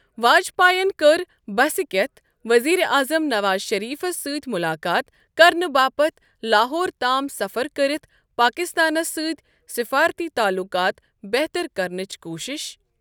واجپائیَن کٔر بسہِ کِٮ۪تھ ؤزیٖر اعظم نواز شٔریٖفَس سۭتہِ مُلاقات کرنہٕ باپتھ لاہور تام سفر كرِتھ پاکستانَس سۭتہِ سفٲرتی تعلُقات بہتَر کرنٕچ کوٗشِش ۔